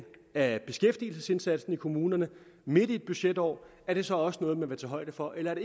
af beskæftigelsesindsatsen i kommunerne midt i et budgetår er det så også noget man vil tage højde for eller er